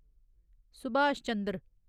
Subhash Chandra